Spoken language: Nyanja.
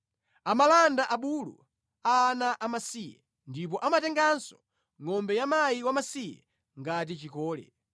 Amalanda abulu a ana amasiye ndipo amatenganso ngʼombe ya mkazi wamasiye ngati chikole.